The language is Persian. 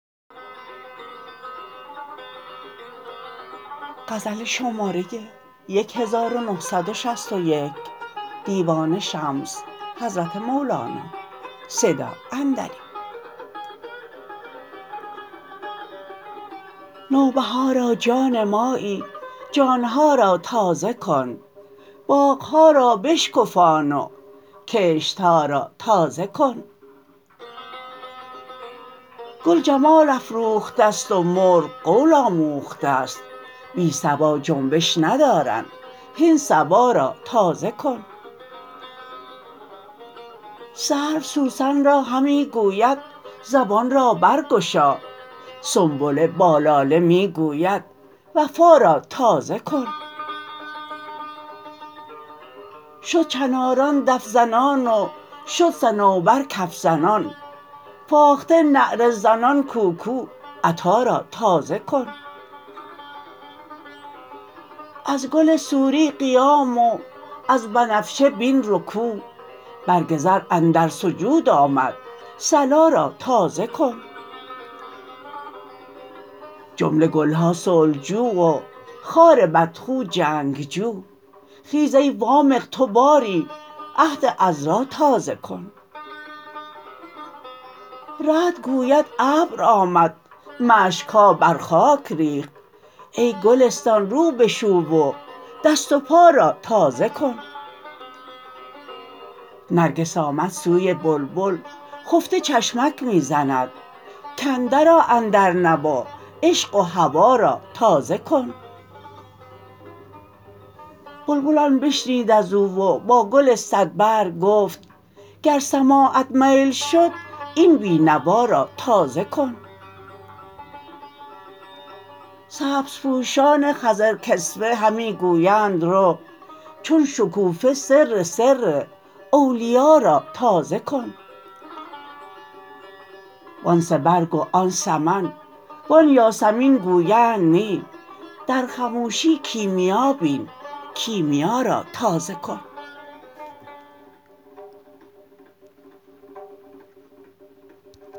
نوبهارا جان مایی جان ها را تازه کن باغ ها را بشکفان و کشت ها را تازه کن گل جمال افروخته ست و مرغ قول آموخته ست بی صبا جنبش ندارند هین صبا را تازه کن سرو سوسن را همی گوید زبان را برگشا سنبله با لاله می گوید وفا را تازه کن شد چناران دف زنان و شد صنوبر کف زنان فاخته نعره زنان کوکو عطا را تازه کن از گل سوری قیام و از بنفشه بین رکوع برگ رز اندر سجود آمد صلا را تازه کن جمله گل ها صلح جو و خار بدخو جنگ جو خیز ای وامق تو باری عهد عذرا تازه کن رعد گوید ابر آمد مشک ها بر خاک ریخت ای گلستان رو بشو و دست و پا را تازه کن نرگس آمد سوی بلبل خفته چشمک می زند کاندرآ اندر نوا عشق و هوا را تازه کن بلبل این بشنید از او و با گل صدبرگ گفت گر سماعت میل شد این بی نوا را تازه کن سبزپوشان خضرکسوه همی گویند رو چون شکوفه سر سر اولیا را تازه کن وان سه برگ و آن سمن وان یاسمین گویند نی در خموشی کیمیا بین کیمیا را تازه کن